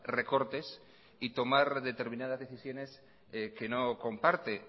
recortes y tomar determinadas decisiones que no comparte